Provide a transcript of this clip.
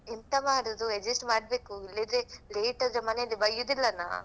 ಎಂತ ಮಾಡುದು adjust ಮಾಡ್ಬೇಕು ಇಲ್ಲಾದ್ರೆ late ಆದ್ರೆ ಮನೆಯಲ್ಲಿ ಬಯ್ಯುದಿಲ್ಲನಾ.